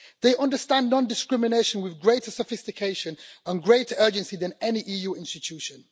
They understand non discrimination with greater sophistication and greater urgency than any EU institution.